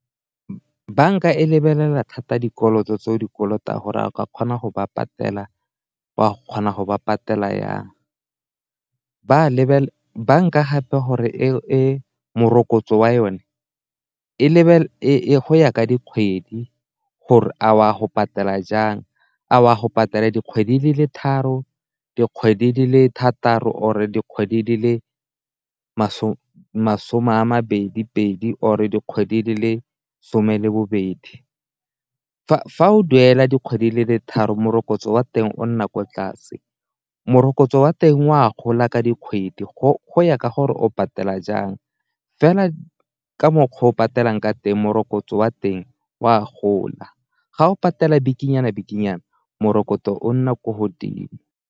Banka e lebelela thata dikoloto tseo dikoloto a gore a ka kgona go ba patela o a go kgona go ba patela jang, banka gape gore e morokotso wa yone go ya ka dikgwedi gore a o a go patela jang a o a go patela dikgwedi di le tharo, dikgwedi di le thataro, or-e dikgwedi di le masome masome a mabedi pedi, or-e dikgwedi di le some le bobedi. Fa o duela dikgwedi le tharo morokotso wa teng o nna ko tlase, morokotso wa teng o a gola ka dikgwedi go ya ka gore o patela jang, fela ka mokgwa o o patelang ka teng morokotso wa teng o a gola, ga o patela bikinyana-bikinyana morokotso o nna ko godimo.